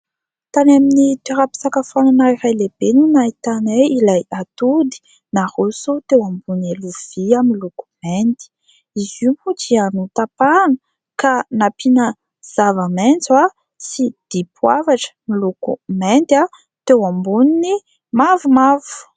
Tany amin'ny toeram-pisakafoanana iray lehibe no nahitanay ilay atody naroso teo ambony lovia miloko mainty. Izy io moa dia notapahana ka nampina zava-maitso sy dipoavatra miloko mainty teo ambonin'ny mavomavo.